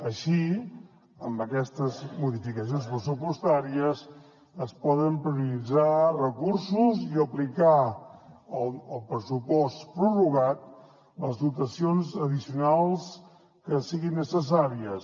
així amb aquestes modificacions pressupostàries es poden prioritzar recursos i aplicar al pressupost prorrogat les dotacions addicionals que siguin necessàries